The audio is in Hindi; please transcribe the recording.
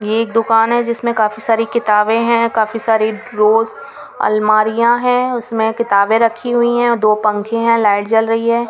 ये एक दुकान है जिसमें काफी सारी किताबें हैं काफी सारी ड्रोस अलमारियां हैं उसमें किताबें रखी हुई हैं दो पंखे हैं लाइट जल रही है.